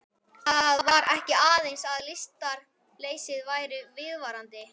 Það var ekki aðeins að lystarleysið væri viðvarandi.